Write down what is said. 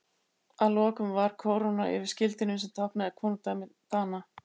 Að lokum var kóróna yfir skildinum sem táknaði konungdæmi Dana.